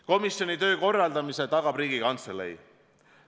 Komisjoni töö korraldamise tagab Riigikantselei.